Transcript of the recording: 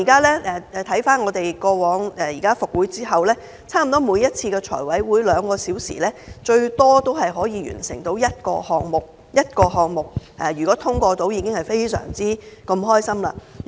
立法會復會後，差不多每次財委會兩小時的會議，最多只能完成審批一個項目，即使可以通過一個項目，我們已經非常高興。